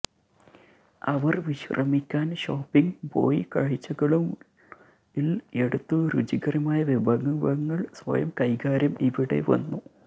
അവർ വിശ്രമിക്കാൻ ഷോപ്പിംഗ് പോയി കാഴ്ചകളും ൽ എടുത്തു രുചികരമായ വിഭവങ്ങൾ സ്വയം കൈകാര്യം ഇവിടെ വന്നു